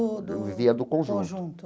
Eu vivia do conjunto.